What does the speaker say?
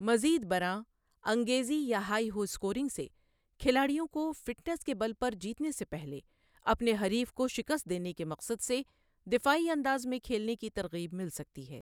مزید برآں، انگیزی یا ہائی ہو اسکورنگ سے کھلاڑیوں کو فٹنیس کے بل پر جیتنے سے پہلے اپنے حریف کو شکست دینے کے مقصد سے دفاعی انداز میں کھیلنے کی ترغیب مل سکتی ہے۔